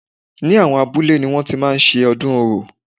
Ni àwọn abúlé ni wọ́n ti máa ń ṣe ọdún orò.